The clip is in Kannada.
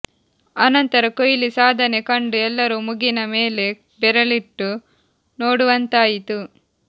ಆನಂತರ ಕೊಹ್ಲಿ ಸಾಧನೆ ಕಂಡು ಎಲ್ಲರೂ ಮುಗಿನ ಮೇಲೆ ಬೆರಳಿಟ್ಟು ನೋಡುವಂತಾಯಿತು